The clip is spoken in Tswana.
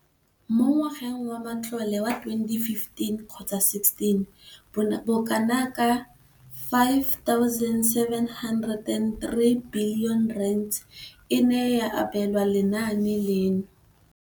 Mo ngwageng wa matlole wa 2015,16, bokanaka R5 703 bilione e ne ya abelwa lenaane leno.